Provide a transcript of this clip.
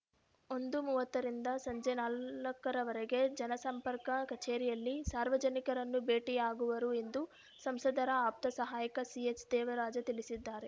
ಒಂದು ಮೂವತ್ತರಿಂದ ಸಂಜೆ ನಾಲ್ಕರವರೆಗೆ ಜನಸಂಪರ್ಕ ಕಚೇರಿಯಲ್ಲಿ ಸಾರ್ವಜನಿಕರನ್ನು ಭೇಟಿಯಾಗುವರು ಎಂದು ಸಂಸದರ ಆಪ್ತ ಸಹಾಯಕ ಸಿಎಚ್‌ದೇವರಾಜ ತಿಳಿಸಿದ್ದಾರೆ